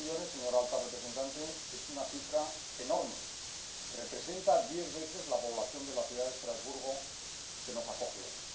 Tres millones, señora alta representante, es una cifra enorme representa diez veces la población de la ciudad de Estrasburgo que nos acoge hoy.